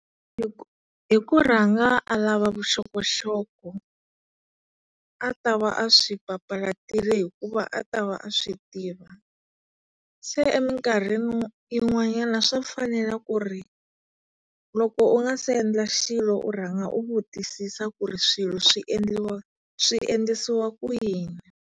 Hi hi ku rhanga a lava vuxokoxoko a tava a swi papalatile hikuva a ta va a swi tiva. Se eminkarhi yin'wanyana swa fanele ku ri na loko u nga se endla xilo u rhanga u vutisisa ku ri swilo swi endliwa swiendlisiwa ku yini.